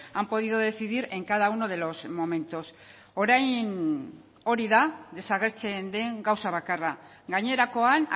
han podido decidir en cada uno de los momentos orain hori da desagertzen den gauza bakarra gainerakoan